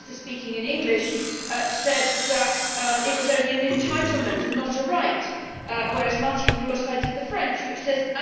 The minister, speaking in English, said that it was only an entitlement' and not a right, whereas Mrs Roure cited the French, which says